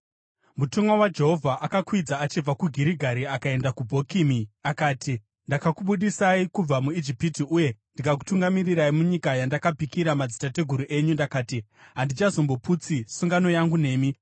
Mutumwa waJehovha akakwidza achibva kuGirigari akaenda kuBhokimi akati, “Ndakakubudisai kubva muIjipiti uye ndikakutungamirirai munyika yandakapikira madzitateguru enyu. Ndakati, ‘Handichazomboputsi sungano yangu nemi,